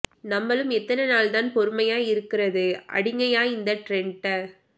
நம்மலும் எத்தன நாள் தான் பொறுமையா இருக்கறது அடிங்கயா இந்த ட்ரெண்ட